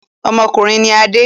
Ọmọkùnrin ni Adé.